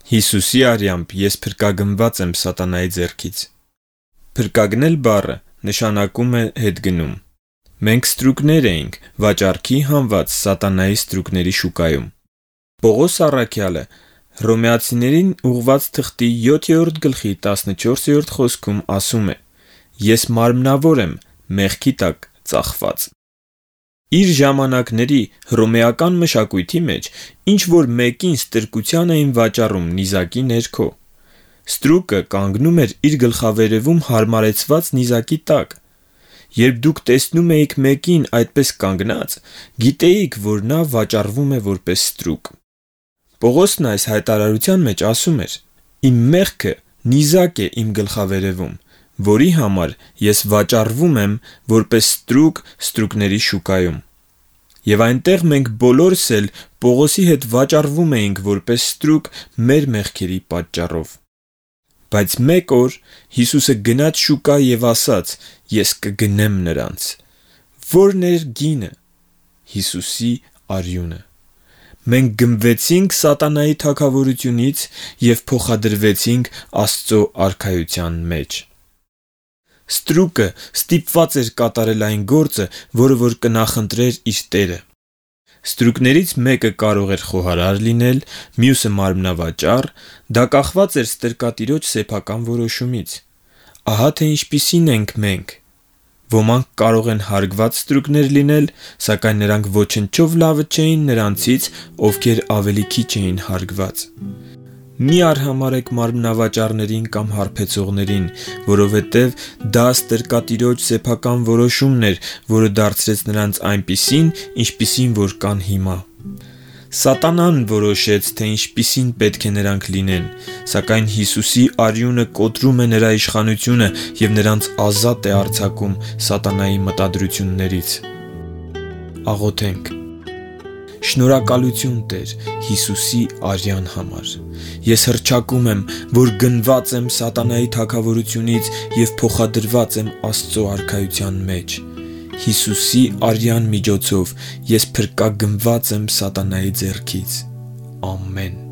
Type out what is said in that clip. Հիսուսի արյամբ ես փրկագնված եմ սատանայի ձեռքից։ Փրկագնել բառը նշանակում «հետգնում»։ Մենք ստրուկներ էինք՝ վաճառքի հանված սատանայի ստրուկների շուկայում։ Պողոս առաքյալն ասել է. «… ես մարմնավոր եմ՝ մեղքի տակ ծախված» (Հռոմեացիներին 7:14)։ Իր ժամանակների հռոմեական մշակույթի մեջ ինչ որ մեկին ստրկության էին վաճառում նիզակի ներքո։ Ստրուկը կանգնում էր իր գլխավերևում հարմարեցված նիզակի տակ։ Երբ դուք տեսնում էիք մեկին այդպես կանգնած, գիտեիք, որ նա վաճառվում է որպես ստրուկ։ Պողոսն այս հայտարարության մեջ ասում էր. «Իմ մեղքը նիզակ է իմ գլխավերևում, որի համար ես վաճառվում եմ որպես ստրուկ ստրուկների շուկայում»։ Եվ այնտեղ մենք բոլորս էլ Պողոսի հետ վաճառվում էինք որպես ստրուկ մեր մեղքերի պատճառով։ Բայց մեկ օր Հիսուսը գնաց շուկա և ասաց. «Ես կգնեմ նրանց»։ Ո՞րն էր գինը։ Հիսուսի արյունը։ Մենք գնվեցինք սատանայի թագավորությունից և փոխադրվեցինք Աստծո արքայության մեջ։ Ստրուկը ստիպված էր կատարել այն գործը, որը որ կնախընտրեր իր տերը։ Ստրուկներից մեկը կարող էր խոհարար լինել, մյուսը՝ մարմնավաճառ, դա կախված էր ստրկատիրոջ սեփական որոշումից։ Ահա թե ինչպիսինն ենք մենք։ Ոմանք կարող են հարգված ստրուկներ լինել, սակայն նրանք ոչնչով լավը չէին նրանցից ովքեր ավելի քիչ էին հարգված։ Մի՛ արհամարհեք մարմնավաճառներին կամ հարբեցողներին, որովհետև դա ստրկատիրոջ սեփական որոշումն էր, որը դարձրեց նրանց այնպիսին, ինչպիսին որ կան հիմա։ Սատանան որոշեց, թե ինչպիսին պետք է նրանք լինեն, սակայն Հիսուսի արյունը կոտրում է նրա իշխանությունը և նրանց ազատ է արձակում սատանայի մտադրություններից։ Շնորհակալությու՛ն, Տե՛ր, Հիսուսի արյան համար։ Ես հռչակում եմ, որ գնված եմ սատանայի թագավորությունից և փոխադրված եմ Աստծո արքայության մեջ։ Հիսուսի արյան միջոցով ես փրկագնված եմ սատանայի ձեռքից։ Ամեն։